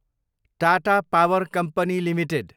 Tata power company Ltd